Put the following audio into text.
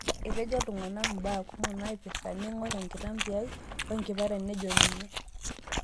Etejo ilntung'ana kumo imbaa torok naipira, neing'or enkitambi ai oe nkipara nejo ninye.